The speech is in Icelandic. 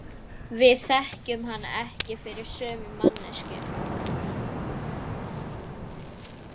Við þekkjum hana ekki fyrir sömu manneskju.